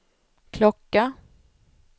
klocka